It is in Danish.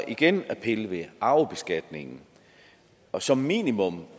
igen at pille ved arvebeskatningen og som minimum